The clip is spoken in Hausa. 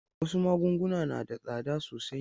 Wasu magunguna na da tsada sosai.